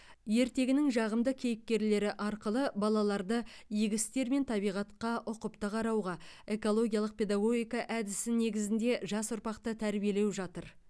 ертегінің жағымды кейіпкерлері арқылы балаларды игі істер мен табиғатқа ұқыпты қарауға экологиялық педагогика әдісі негізінде жас ұрпақты тәрбиелеу жатыр